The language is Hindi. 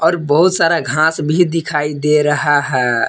बहुत सारा घास भी दिखाई दे रहा है।